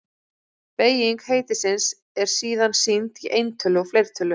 Beyging heitisins er síðan sýnd í eintölu og fleirtölu.